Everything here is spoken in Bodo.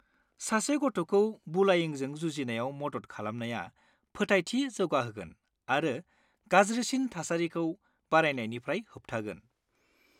सासे गथ'खौ बुलायिंजों जुजिनायाव मदद खालामनाया फोथायथि जौगाहोगोन आरो गाज्रिसिन थामेडामिखौ बारायनायनिफ्राय होबथागोन।